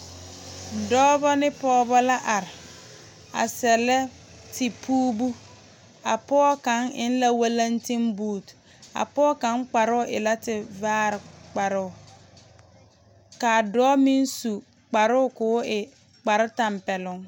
Dͻͻbͻ ne pͻͻbͻ la are a sԑllԑ tepuubu. A pͻge kaŋa eŋ la walentinbuute. A pͻge kaŋa kparoo e tevaare kparoo ka a dͻͻ meŋ su kparoo ka o e kpare tampԑloŋ.